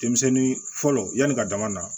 Denmisɛnnin fɔlɔ yan'i ka dama na